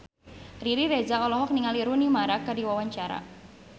Riri Reza olohok ningali Rooney Mara keur diwawancara